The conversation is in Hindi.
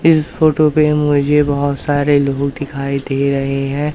इस फोटो पे मुझे बहुत सारे लोग दिखाई दे रहे है।